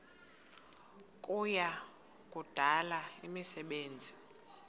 kuya kudala imisebenzi